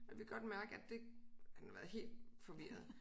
Jeg kan godt mærke at det han har været helt forvirret